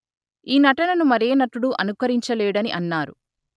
ఈ నటనను మరే నటుడు అనుకరించలేడని అన్నారు